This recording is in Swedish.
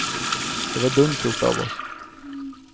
Det var dumt gjort av oss.